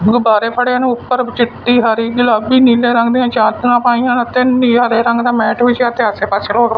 ਗੁੱਬਾਰੇ ਵਾੜੇਆਂ ਨੇਂ ਊਪਰ ਚਿੱਟੀ ਹਰੀ ਗੁਲਾਬੀ ਨੀਲੇ ਰੰਗ ਦਿਆਂ ਚਾਦਰਾਂ ਪਾਈਆਂ ਅਤੇ ਨੀਹਾਂਰੇ ਰੰਗ ਦਾ ਮੈਟ ਵਿੱਛਿਆ ਤੇ ਆਸੇ ਪਾੱਸੇ ਰੋਡ --